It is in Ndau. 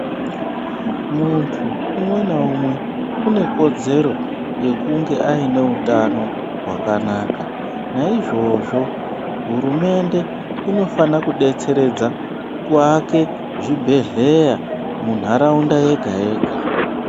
Munthu umwe naumwe une kodzero yekunge aine utano hwakanaka naizvozvo hurumende inofana kudetseredza kuvaka zvibhedhleya muntharaunda yega yega.